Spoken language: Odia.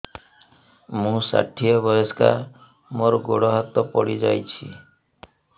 ମୁଁ ଷାଠିଏ ବୟସ୍କା ମୋର ଗୋଡ ହାତ ପଡିଯାଇଛି